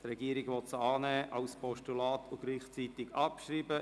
Die Regierung will sie als Postulat annehmen und gleichzeitig abschreiben.